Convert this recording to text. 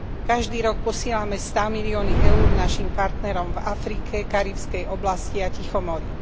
Každý rok posielame stámilióny EUR našim partnerom v Afrike, Karibskej oblasti a Tichomorí.